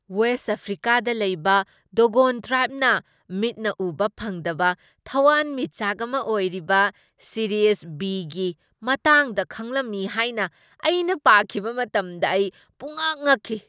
West ꯑꯐ꯭ꯔꯤꯀꯥꯗ ꯂꯩꯕ Dogon ꯇ꯭ꯔꯥꯏꯕꯅ ꯃꯤꯠꯅ ꯎꯕ ꯐꯪꯗꯕ ꯊꯋꯥꯟꯃꯤꯆꯥꯛ ꯑꯃ ꯑꯣꯏꯔꯤꯕ ꯁꯤꯔꯤꯌꯁ ꯕꯤ.ꯒꯤ ꯃꯇꯥꯡꯗ ꯈꯪꯂꯝꯃꯤ ꯍꯥꯏꯅ ꯑꯩꯅ ꯄꯥꯈꯤꯕ ꯃꯇꯝꯗ ꯑꯩ ꯄꯨꯝꯉꯛ ꯉꯛꯈꯤ꯫